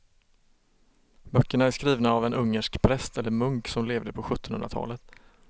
Böckerna är skrivna av en ungersk präst eller munk som levde på sjuttonhundratalet.